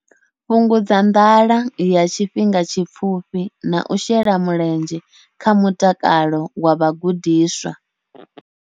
Fhungudza nḓala ya tshifhinga tshipfufhi na u shela mulenzhe kha mutakalo wa vhagudiswa.